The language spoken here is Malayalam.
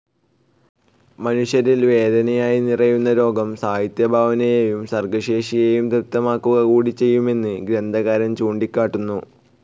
മനുഷ്യനിൽ വേദനയായി നിറയുന്ന രോഗം, സാഹിത്യഭാവനയേയും സർഗശേഷിയേയും ദീപ്തമാക്കുക കൂടി ചെയ്യുമെന്ന് ഗ്രന്ഥകാരൻ ചൂണ്ടിക്കാട്ടുന്നു.